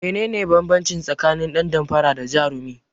Menene banbanci tsakanin dan damfara da jarumi?